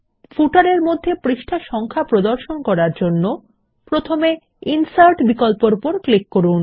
পাদলেখর মধ্যে পৃষ্ঠা নম্বর প্রদর্শন করার জন্য প্রথমে ইনসার্ট বিকল্পর উপর ক্লিক করুন